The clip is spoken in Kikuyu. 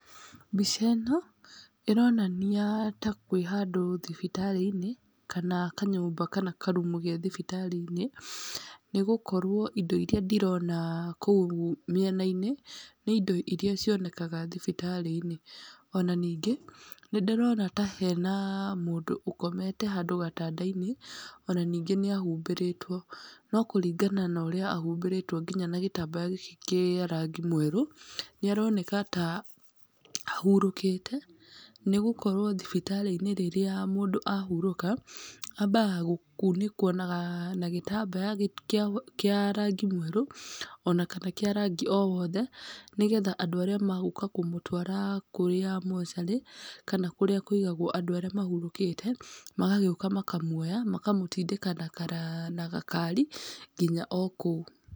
Mbica ĩno ĩronania ta kwĩ handũ thibitarĩ-inĩ kana kanyũmba kana karumu ge thibitarĩ-inĩ, nĩgũkorwo indo iria ndĩrona kũu mĩena-inĩ, nĩ indo iria cionekaga thibitarĩ-inĩ. Ona ningĩ nĩndĩrona ta hena mũndũ ũkomete handũ gatanda-inĩ, ona ningĩ nĩahumbĩrĩtwo. No kũringana na ũrĩa ahumbĩrĩtwo nginya na gĩtambaya gĩkĩ kĩa rangi mwerũ, nĩaroneka ta ahurũkĩte nĩgũkorwo thibitarĩ-inĩ rĩrĩa mũndũ ahurũka, ambaga gũkunĩkwo na gĩtambaya kĩa kĩa rangi mwerũ, ona kana kĩa rangi o wothe, nĩgetha andũ arĩa magũka kũmũtwara kũrĩa mocarĩ, kana kũrĩa kũigagwo andũ arĩa mahurũkĩte, magagĩũka makamuoya makamũtindĩka na gakari nginya o kũu.